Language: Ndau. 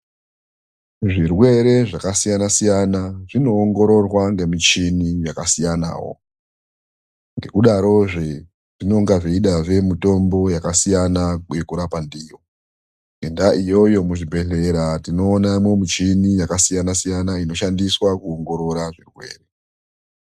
Zvirwere zvakasiyana siyana zvinoongororwa ngemuchini yakasiyanawo. Ngekudarozve, zvinonga zveidazve mutombo yakasiyana yekurapa ndiyo. Ngendaa iyoyo, muzvibhedhlera tinoonamo muchini yakasiyana siyana, inoshandiswa kuongorora zvirwere.